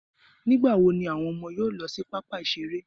Nígbà wo ni àwọn ọmọ yóò lọ sí pápá ìṣeré?